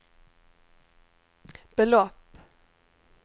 belopp